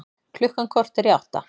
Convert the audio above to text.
Klukkan korter í átta